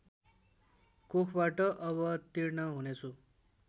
कोखबाट अवतीर्ण हुनेछु